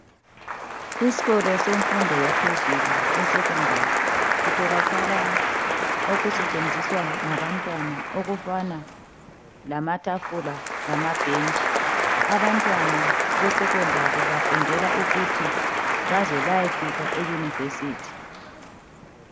Isikolo semfundo yaphezulu esekhondari kutholakala okusentshenziswa ngabantwana okufana lamatafula lama bhentshi abantwana besekhondari bafundela ukuthi baze bayefika eyunivesithi.